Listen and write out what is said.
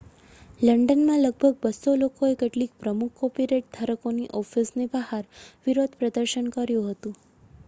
લંડનમાં લગભગ 200 લોકોએ કેટલીક પ્રમુખ કોપીરાઇટ ધારકોની ઑફિસની બહાર વિરોધનું પ્રદર્શન કર્યું હતું